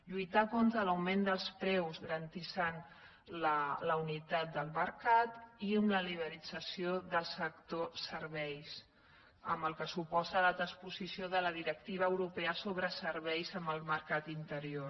lluitar contra l’augment dels preus garantint la unitat del mercat i amb la liberalització del sector ser·veis amb el que suposa la transposició de la directiva europea sobre serveis en el mercat interior